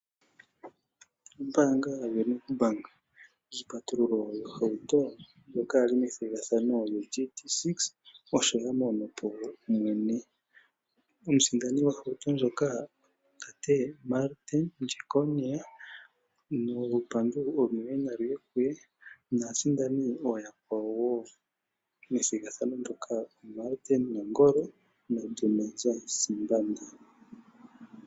Ombaanga yoStandard Bank Iipatululo yohauto ndjoka ya li methigathano yoGD6 osho ya mono po mwene. Omusindani gohauto ndjoka otate Martin Jeckonia nolupandu olunene nalu ye kuye naasindani ooyakwawo wo methigathano ndyoka Martin Nangolo naDumaza Simbanda.